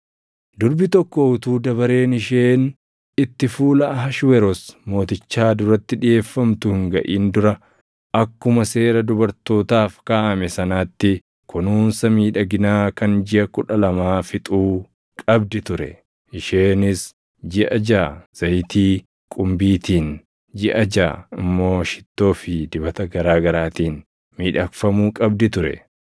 Durbi tokko utuu dabareen isheen itti fuula Ahashweroos Mootichaa duratti dhiʼeeffamtu hin gaʼin dura akkuma seera dubartootaaf kaaʼame sanaatti kunuunsa miidhaginaa kan jiʼa kudha lamaa fixuu qabdi ture; isheenis jiʼa jaʼa zayitii qumbiitiin, jiʼa jaʼa immoo shittoo fi dibata garaa garaatiin miidhagfamuu qabdi ture.